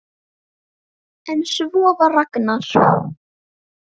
En svona var Ragnar.